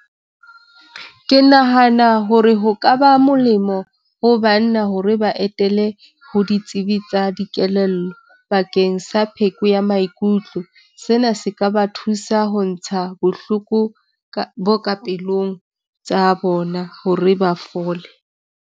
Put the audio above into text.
Ke nahana hore ho ka ba molemo ho banna hore ba etele ho ditsebi tsa dikelello bakeng sa pheko ya maikutlo. Sena se ka ba thusa ho ntsha bohloko ka bo ka pelong tsa bona hore ba fole.